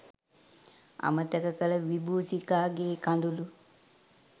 අමතක කළ විබූෂිකාගේ කඳුළු